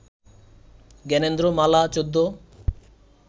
Gyanendra Mala ১৪